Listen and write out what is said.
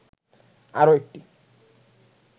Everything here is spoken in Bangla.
আরো একটি